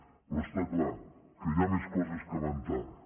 però està clar que hi ha més coses que van tard